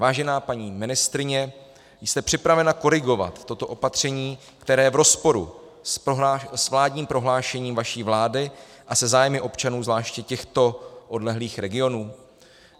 Vážená paní ministryně, jste připravena korigovat toto opatření, které je v rozporu s vládním prohlášením vaší vlády a se zájmy občanů zvláště těchto odlehlých regionů?